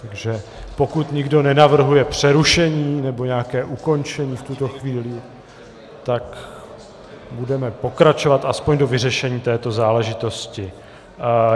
Takže pokud nikdo nenavrhuje přerušení nebo nějaké ukončení v tuto chvíli, tak budeme pokračovat aspoň do vyřešení této záležitosti.